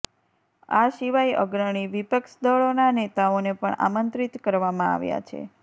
આ સિવાય અગ્રણી વિપક્ષ દળોના નેતાઓને પણ આમંત્રિત કરવામાં આવ્યા છે